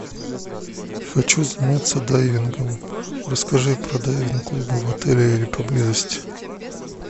хочу заняться дайвингом расскажи про дайвинг клубы в отеле или поблизости